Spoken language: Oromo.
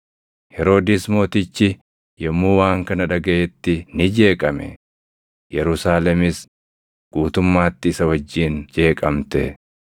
Heroodis Mootichi yommuu waan kana dhagaʼetti ni jeeqame; Yerusaalemis guutummaatti isa wajjin jeeqamte.